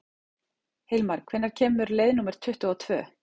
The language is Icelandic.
Hilmar, hvenær kemur leið númer tuttugu og tvö?